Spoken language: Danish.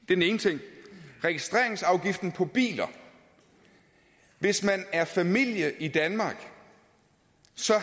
den ene ting registreringsafgift på biler hvis man er en familie i danmark